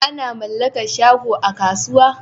Ana mallakar shago a kasuwa